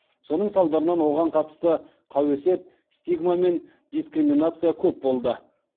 соның салдарынан оған қатысты қауесет стигма мен дискриминация көп болды